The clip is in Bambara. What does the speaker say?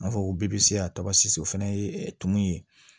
N'a fɔ ko bpse a tɔgɔ sise o fɛnɛ ye tumu ye